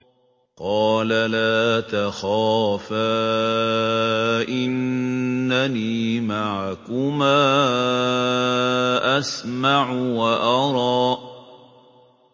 قَالَ لَا تَخَافَا ۖ إِنَّنِي مَعَكُمَا أَسْمَعُ وَأَرَىٰ